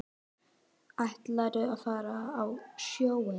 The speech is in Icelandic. Ætlarðu að fara á sjóinn?